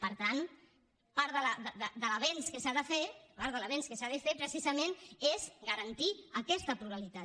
per tant part de l’avenç que s’ha de fer part de l’avenç que s’ha de fer precisament és garantir aquesta pluralitat